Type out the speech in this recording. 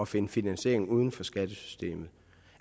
finde finansiering uden for skattesystemet